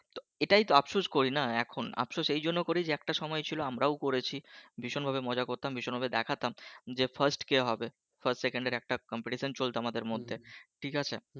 তো এটাই তো আপসোস করিনা এখন আপসোস এইজন্য করিনা যে একটা সময় ছিলো আমরাও করেছি, ভীষণ ভাবে মজা করতাম ভীষণ ভাবে দেখাতাম যে fast কে হবে fast সেকেন্ড এর একটা complete চলতো আমাদের মধ্যে ঠিক আছে?